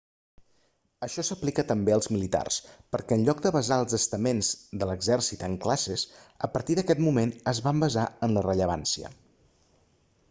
això s'aplica també als militars perquè en lloc de basar els estaments de l'exèrcit en classes a partir d'aquest moment es van basar en la rellevància